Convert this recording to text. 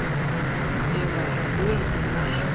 Ég var öruggur þar.